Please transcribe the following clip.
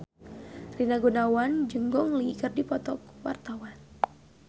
Rina Gunawan jeung Gong Li keur dipoto ku wartawan